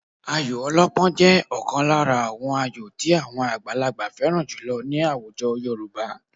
Ayò ọlọ́pọ́n jẹ́ ọ̀kan lára àwọn ayò tí àwọn àgbàlagbà fẹ́ràn jùlọ ní àwùjọ Yorùbá